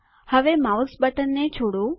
હવે માઉસ બટનને છોડો